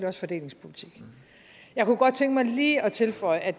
også fordelingspolitik jeg kunne godt tænke mig lige at tilføje at